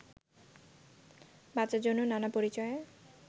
বাঁচার জন্য নানা পরিচয়ে